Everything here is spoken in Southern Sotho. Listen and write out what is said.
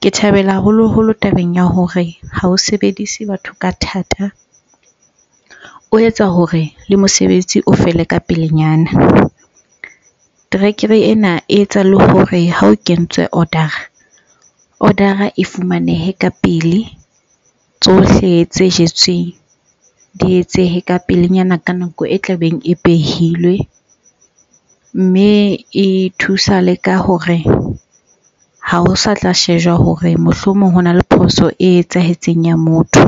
Ke thabela haholoholo tabeng ya hore ha o sebedise batho ka thata, o etsa hore le mosebetsi o fele ka pelenyana. Terekere ena e etsa le hore ha o kentswe order-a, order-a e fumaneha ka pele, tsohle tse jetsweng di etsehe ka pelenyana ka nako e tlabeng e behilwe. Mme e thusa le ka hore ha ho sa tla shejwa hore mohlomong hona le phoso e etsahetseng ya motho.